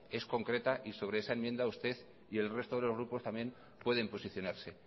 es concreta y sobre esa enmienda usted y el resto de los grupos también pueden posicionarse